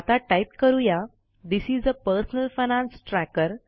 आता टाईप करू या this is a personal finance tracker